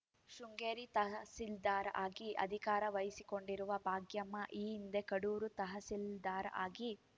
ಶೃಂಗೇರಿ ತಹಸೀಲ್ದಾರ್‌ ಆಗಿ ಅಧಿಕಾರ ವಹಿಸಿಕೊಂಡಿರುವ ಭಾಗ್ಯಮ್ಮ ಈ ಹಿಂದೆ ಕಡೂರು ತಹಸೀಲ್ದಾರ್‌ ಆಗಿ